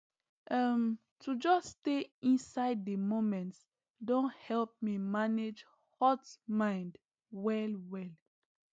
um to just stay inside the moment don help me manage hot mind wellwel